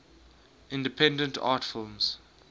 independent art films